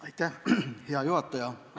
Aitäh, hea juhataja!